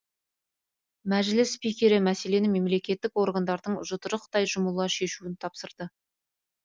мәжіліс спикері мәселені мемлекеттік органдардың жұдырықтай жұмыла шешуін тапсырды